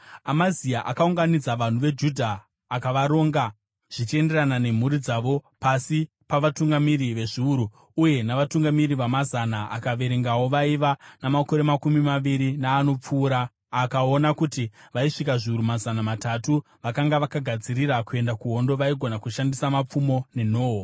Amazia akaunganidza vanhu veJudha akavaronga zvichienderana nemhuri dzavo pasi pavatungamiri vezviuru uye navatungamiri vamazana akaverengawo vaiva namakore makumi maviri naanopfuura akaona kuti vaisvika zviuru mazana matatu vakanga vakagadzirira kuenda kuhondo, vaigona kushandisa mapfumo nenhoo.